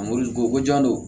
ko ko jan don